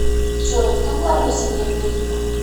джой кто главный в семье бурико